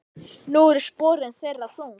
Nú eru sporin þeirra þung.